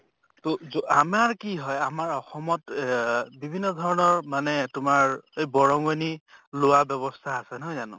তʼ জ কি হয় আমাৰ অসমত ইয়েহ বিভিন্ন ধৰণৰ মানে তোমাৰ এই বৰংনি লোৱা ব্য়ৱস্থা আছে, নহয় জানো?